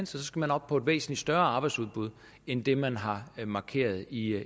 skal man op på et væsentlig større arbejdsudbud end det man har markeret i